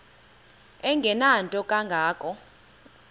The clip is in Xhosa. engenanto kanga ko